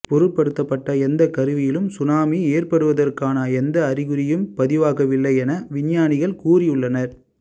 பொருத்தபபட்ட எந்த கருவியிலும் சுனாமி ஏற்படுவதற்கான எந்த அறிகுறியும் பதிவாக வில்லை என விஞ்ஞானிகள் கூறி உள்ளனர்